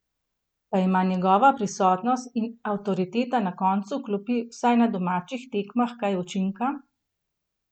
Pa ima njegova prisotnost in avtoriteta na koncu klopi vsaj na domačih tekmah kaj učinka?